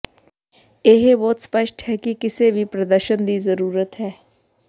ਇਹ ਬਹੁਤ ਸਪਸ਼ਟ ਹੈ ਕਿ ਕਿਸੇ ਵੀ ਪ੍ਰਦਰਸ਼ਨ ਦੀ ਜ਼ਰੂਰਤ ਹੈ